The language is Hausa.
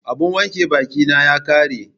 Abun wanke bakin na ya ƙare